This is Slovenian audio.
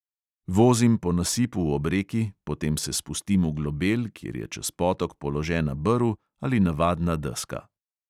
Vozim po nasipu ob reki, potem se spustim v globel, kjer je čez potok položena brv ali navadna deska.